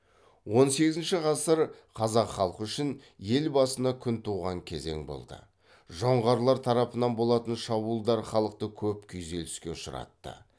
он сегізінші ғасыр қазақ халқы үшін ел басына күн туған кезең болды жоңғарлар тарапынан болатын шабуылдар халықты көп күйзеліске ұшыратты